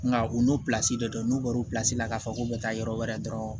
Nka u n'o de don n'u bɔr'u pila k'a fɔ k'u bɛ taa yɔrɔ wɛrɛ dɔrɔn